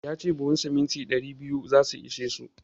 Ya ce buhun siminti ɗari biyu za su ishe su.